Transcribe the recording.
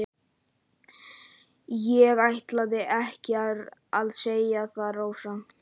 En ég ætlaði ekki að segja það, Rósa.